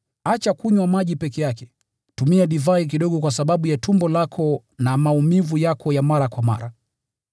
Acha kunywa maji peke yake, tumia divai kidogo kwa sababu ya tumbo lako na maumivu yako ya mara kwa mara.